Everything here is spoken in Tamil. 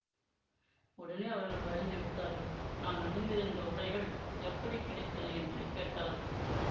உடனே அவர்கள் பயந்து விட்டார்கள் நான் அணிந்திருந்த உடைகள் எப்படி கிடைத்தன என்று கேட்டார்கள்